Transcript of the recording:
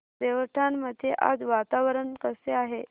देवठाण मध्ये आज वातावरण कसे आहे